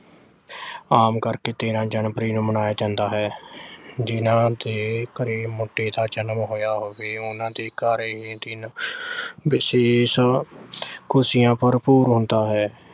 ਆਮ ਕਰਕੇ ਤੇਰ੍ਹਾਂ January ਨੂੰ ਮਨਾਇਆ ਜਾਂਦਾ ਹੈ। ਜਿਨ੍ਹਾਂ ਦੇ ਘਰੇ ਮੁੰਡੇ ਦਾ ਜਨਮ ਹੋਇਆ ਹੋਵੇ, ਉਨ੍ਹਾਂ ਦੇ ਘਰ ਇਹ ਦਿਨ ਵਿਸ਼ੇਸ਼ ਖੁਸ਼ੀਆਂ ਭਰਪੂਰ ਹੁੰਦਾ ਹੈ।